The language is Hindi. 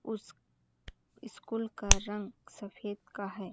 उस स्कूल का रंग सफ़ेद का हैं।